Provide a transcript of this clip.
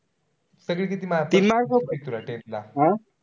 सगळे किती mark होते तुला tenth ला?